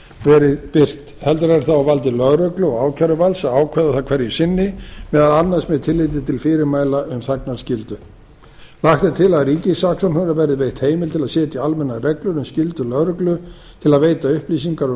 verið birt heldur er það á valdi lögreglu og ákæruvalds að ákæra það hverju sinni meðal annars með tilliti til fyrirmæla um þagnarskyldu lagt er til að ríkissaksóknara verði veitt heimild til að setja almennar reglur um skyldu lögreglu til að veita upplýsingar um